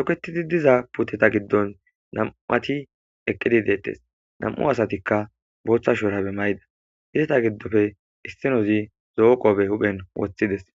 toketidi diza puteta giddon nam'ati eqqidi deettes nam'u asatikka booththa shuurabe mayda izeta giddofe issinozi zo'o qobe hupen woththides